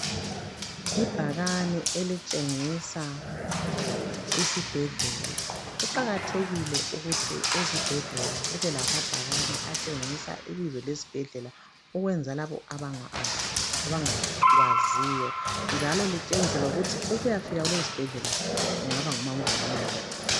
Ibhakane elitshengisa isibhedlela kuqakathekile ukuthi ezibhedlela kube lamabhakane atshengisa ibizo lesibhedlela ukwenzela labo abangakwaziyo, njalo litshengise ukuthi ukuyafika kuleso sibhedlela kungaba ngumango ongakanani.